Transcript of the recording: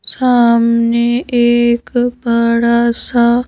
सामने एक बड़ा सा--